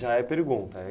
é pergunta.